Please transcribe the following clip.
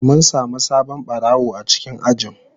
Mun samu sabon barawo a cikin ajin.